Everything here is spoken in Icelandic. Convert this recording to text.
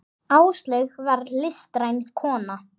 Áslaug var listræn kona.